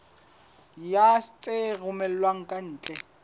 ya tse romellwang ka ntle